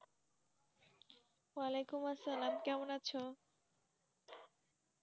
আলিকুম আসসালাম কেমন আছো?